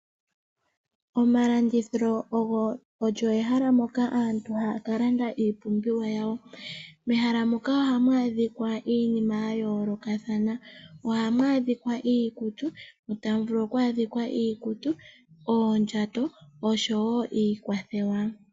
Omalandithilo olyo ehala ndyoka aantu haya kalanda iipumbiwa yawo. Mehala moka ohamu adhika iinima yayoolokathana. Ohamu adhika iikutu, oondjato osho wo iikwatelwa.